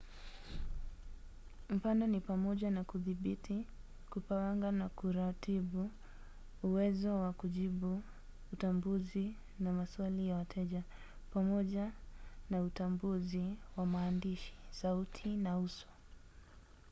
mfano ni pamoja na kudhibiti kupanga na kuratibu uwezo wa kujibu utambuzi na maswali ya wateja pamoja na utambuzi wa maandishi sauti na uso